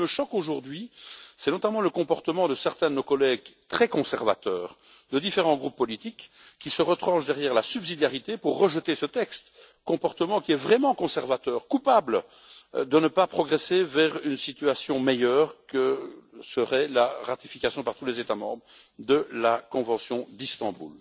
Ce qui me choque aujourd'hui, c'est notamment le comportement de certains de nos collègues très conservateurs de différents groupes politiques qui se retranchent derrière la subsidiarité pour rejeter ce texte, comportement qui est vraiment conservateur, coupable de ne pas progresser vers une situation meilleure que serait la ratification par tous les États membres de la convention d'Istanbul.